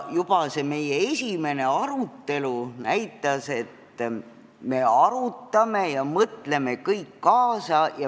Juba see meie esimene arutelu näitas, et me kõik arutleme ja mõtleme kaasa.